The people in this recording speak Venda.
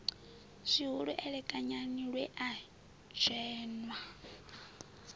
zwihulu elekanyani lwe a dzheṅwa